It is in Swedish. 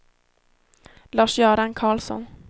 Lars-Göran Carlsson